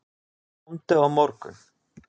Komdu á morgun.